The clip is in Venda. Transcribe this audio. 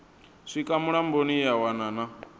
swika mulamboni ya wana na